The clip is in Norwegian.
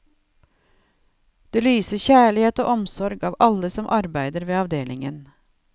Det lyser kjærlighet og omsorg av alle som arbeider ved avdelingen.